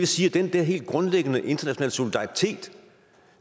sige at den der helt grundlæggende internationale solidaritet